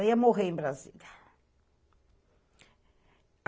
Ela ia morrer em Brasília.